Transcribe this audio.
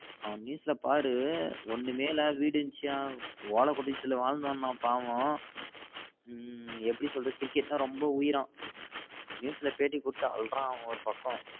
அவன news ல பாரு ஒன்னுமே இல்லாம வீடு இருந்துச்சாம் ஓல குடிசைல வாழ்ந்தவனம் பாவம் ஹம் எப்டி சொல்ரது கிரிக்கெட்னா ரெம்ப வுயிராம் news ல பேட்டி குடுத்து அல்றான் அவ ஒரு பக்கம்